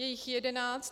Je jich jedenáct.